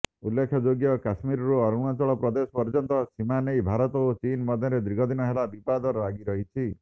ଉଲ୍ଲେଖଯୋଗ୍ୟ କଶ୍ମୀରରୁ ଅରୁଣାଚଳପ୍ରଦେଶ ପର୍ଯ୍ୟନ୍ତ ସୀମା ନେଇ ଭାରତ ଓ ଚୀନ୍ ମଧ୍ୟରେ ଦୀର୍ଘଦିନ ହେଲା ବିବାଦ ଲାଗିରହିଛି